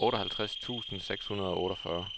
otteoghalvtreds tusind seks hundrede og otteogfyrre